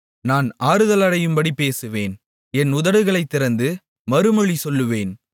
நான் ஆறுதலடையும்படி பேசுவேன் என் உதடுகளைத் திறந்து மறுமொழி சொல்லுவேன்